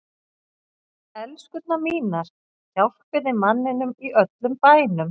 ELSKURNAR MÍNAR, HJÁLPIÐ MANNINUM Í ÖLLUM BÆNUM!